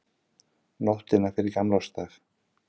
Nóttina fyrir gamlársdag.